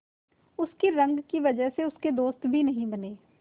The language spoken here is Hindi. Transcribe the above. उसकी रंग की वजह से उसके दोस्त भी नहीं बने